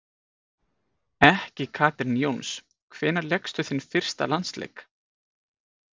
Ekki Katrín Jóns Hvenær lékstu þinn fyrsta landsleik?